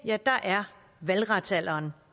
er valgretsalderen